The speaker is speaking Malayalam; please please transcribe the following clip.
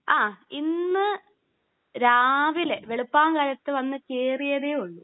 ആ. ഇന്ന് രാവിലെ വെളുപ്പാൻ കാലത്ത് വന്ന് കേറിയതെ ഉള്ളൂ.